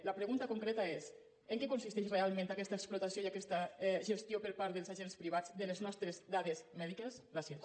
la pregunta concreta és en què consisteix realment aquesta explotació i aquesta gestió per part dels agents privats de les nostres dades mèdiques gràcies